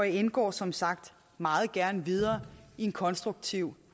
indgår som sagt meget gerne videre i en konstruktiv